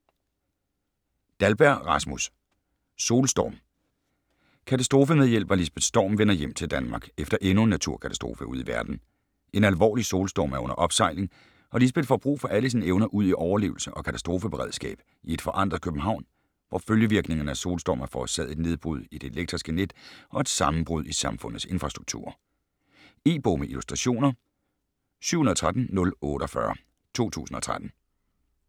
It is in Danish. Dahlberg, Rasmus: Solstorm Katastrofemedhjælper Lisbeth Storm vender hjem til Danmark efter endnu en naturkatastrofe ude i verden. En alvorlig solstorm er under opsejling og Lisbeth får brug for alle sine evner udi overlevelse og katastrofeberedskab i et forandret København, hvor følgevirkningerne af solstormen har forårsaget et nedbrud i det elektriske net og et sammenbrud i samfundets infrastrukturer. E-bog med illustrationer 713048 2013.